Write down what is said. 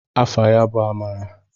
Afa ya bụ Amara.